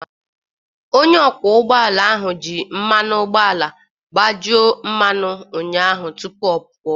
Onye ọkwọ ụgbọ ala ahụ ji mmanụ ụgbọala gbajuru mmanụ ụnyaahụ tupu ọ pụọ